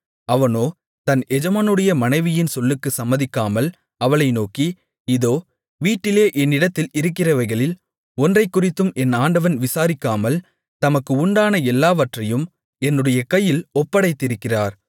அவனோ தன் எஜமானுடைய மனைவியின் சொல்லுக்குச் சம்மதிக்காமல் அவளை நோக்கி இதோ வீட்டிலே என்னிடத்தில் இருக்கிறவைகளில் ஒன்றைக்குறித்தும் என் ஆண்டவன் விசாரிக்காமல் தமக்கு உண்டான எல்லாவற்றையும் என்னுடைய கையில் ஒப்படைத்திருக்கிறார்